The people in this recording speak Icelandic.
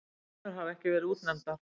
Fleiri konur hafa ekki verið útnefndar.